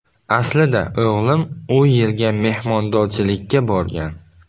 Aslida o‘g‘lim u yerga mehmondorchilikka borgan.